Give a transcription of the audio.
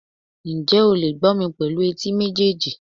njẹ o le gbó mí pelu etí mejeejí